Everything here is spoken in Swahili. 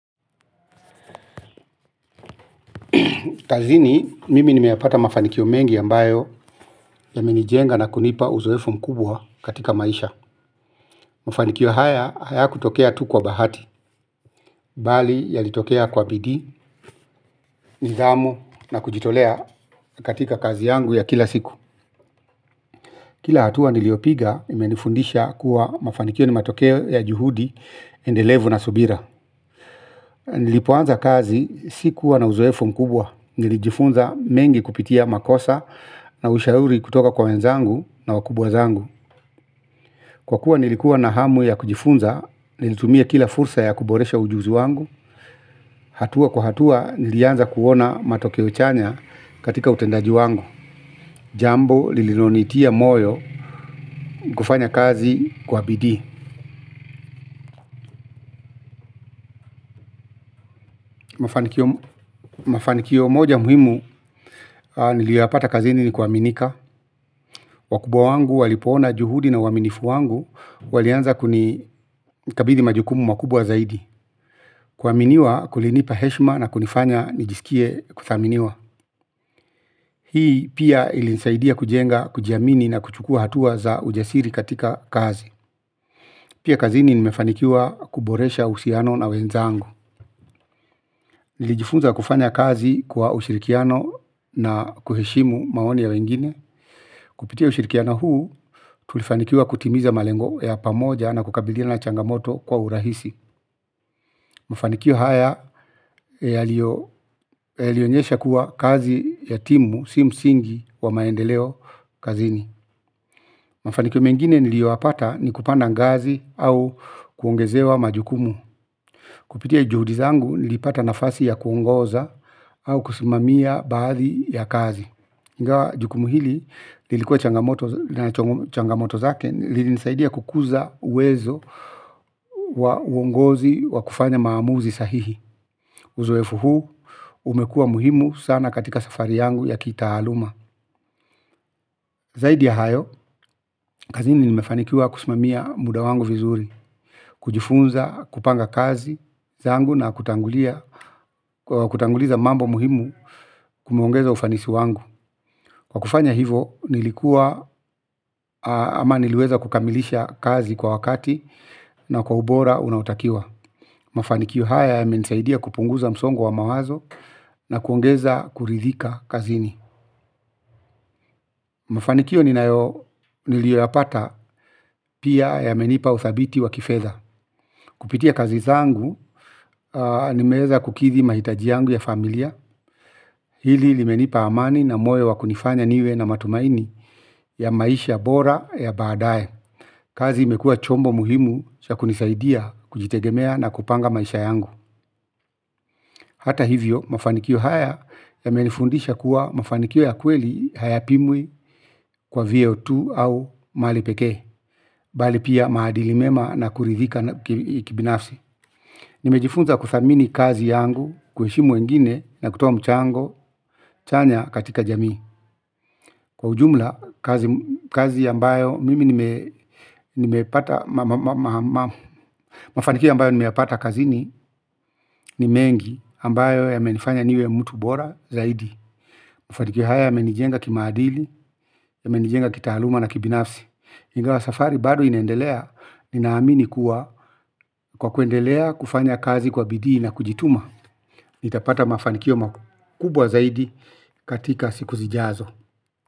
Kazini mimi nimeyapata mafanikio mengi ambayo yamenijenga na kunipa uzoefu mkubwa katika maisha. Mafanikio haya hayakutokea tu kwa bahati. Bali yalitokea kwa bidii, nidhamu na kujitolea katika kazi yangu ya kila siku kila hatua niliopiga imenifundisha kuwa mafanikio ni matokeo ya juhudi endelevu na subira. Nilipoanza kazi sikuwa na uzoefu mkubwa. Nilijifunza mengi kupitia makosa na ushauri kutoka kwa wenzangu na wakubwa zangu. Kwa kuwa nilikuwa na hamu ya kujifunza, nilitumia kila fursa ya kuboresha ujuzi wangu hatua kwa hatua nilianza kuona matokeo chanya katika utendaji wangu jambo lililonitia moyo kufanya kazi kwa bidii mafanikio moja muhimu nilioyapata kazini ni kuaminika wakubwa wangu walipoona juhudi na uaminifu wangu, walianza kunikabidhi majukumu makubwa zaidi. Kuaminiwa kulinipa heshima na kunifanya nijisikie kuthaminiwa. Hii pia ilinisaidia kujenga, kujiamini na kuchukua hatua za ujasiri katika kazi pia kazini nimefanikiwa kuboresha uhusiano na wenzangu. Nilijifunza kufanya kazi kwa ushirikiano na kuheshimu maoni ya wengine kupitia ushirikiano huu, tulifanikiwa kutimiza malengo ya pamoja na kukabiliana na changamoto kwa urahisi mafanikio haya yalionyesha kuwa kazi ya timu, si msingi wa maendeleo kazini. Mafanikio mengine nilioyapata ni kupanda ngazi au kuongezewa majukumu. Kupitia juhudi zangu nilipata nafasi ya kuongoza au kusimamia baadhi ya kazi. Ingawa jukumu hili, ilikuwa na changamoto zake, lilinisaidia kukuza uwezo wa uongozi wa kufanya maamuzi sahihi. Uzoefu huu umekua muhimu sana katika safari yangu ya kitaaluma zaidi ya hayo, kazini nimefanikiwa kusimamia muda wangu vizuri kujifunza, kupanga kazi zangu na kutanguliza mambo muhimu kumeongeza ufanisi wangu. Kwa kufanya hivyo nilikuwa ama niliweza kukamilisha kazi kwa wakati na kwa ubora unaotakiwa mafanikio haya yamenisaidia kupunguza msongo wa mawazo na kuongeza kuridhika kazini. Mafanikio nilioyapata pia yamenipa uthabiti wa kifedha kupitia kazi zangu nimeweza kukidhi mahitaji yangu ya familia hili limenipa amani na moyo wa kunifanya niwe na matumaini ya maisha bora ya baadae kazi imekua chombo muhimu cha kunisaidia kujitegemea na kupanga maisha yangu. Hata hivyo mafanikio haya yamenifundisha kuwa mafanikio ya kweli haya pimwi kwa vyeo tu au mali pekee bali pia maadili mema na kuridhika kibinafsi nimejifunza kuthamini kazi yangu, kuheshimu wengine na kutoa mchango chanya katika jamii. Kwa ujumla kazi ambayo mimi nimepata mafanikio ambayo nimeyapata kazini, ni mengi ambayo yamenifanya niwe mtu bora zaidi mafanikio haya yamenijenga kimaadili, yamenijenga kitaaluma na kibinafsi ingawa safari bado inaendelea. Ninaamini kuwa kwa kuendelea kufanya kazi kwa bidii na kujituma nitapata mafanikio makubwa zaidi katika siku zijazo.